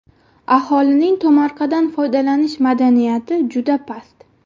Aholining tomorqadan foydalanish madaniyati juda past.